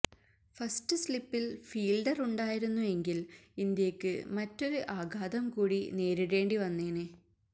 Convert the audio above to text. first സ്ലിപ്പില് ഫീല്ഡറുണ്ടായിരുന്നു എങ്കില് ഇന്ത്യയ്ക്ക് മറ്റൊരു ആഘാതം കൂടി നേരിടേണ്ടി വന്നേനെ